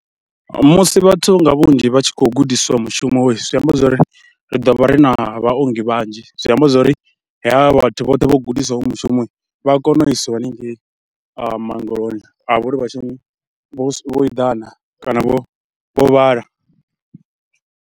Musi vhathu nga vhunzhi vha tshi khou gudiswa mushumo zwi amba zwo ri ri ḓo vha ri na vhaongi vhanzhi, zwi amba zwo ri havha vhathu vhoṱhe vho gudisiwaho vho mushumo vha a kona u isiwa haningei maongeloni a vha uri vha tshi, vho eḓana kana vho vhala.